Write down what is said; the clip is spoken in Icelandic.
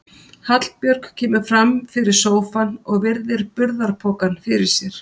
Hallbjörg kemur fram fyrir sófann og virðir burðarpokann fyrir sér.